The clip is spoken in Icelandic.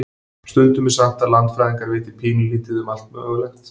Stundum er sagt að landfræðingar viti pínulítið um allt mögulegt.